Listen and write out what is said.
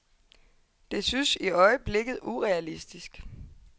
Det synes i øjeblikket urealistisk.